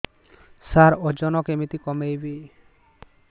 ସାର ଓଜନ କେମିତି କମେଇବି